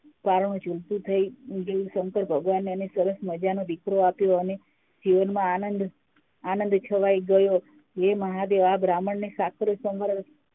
કારણે થઇ ગયું અને સંકર ભગવાને એને સરસ મજાનો દીકરો આપ્યો અને જીવનમાં આનંદ છવાઈ ગયો હે મહાદેવ આ બ્રાહ્મણંને સાકરી સો